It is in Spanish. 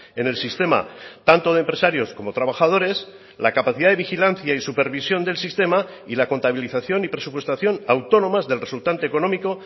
en el sistema tanto de empresarios como trabajadores la capacidad de vigilancia y supervisión del sistema y la contabilización y presupuestación autónomas del resultante económico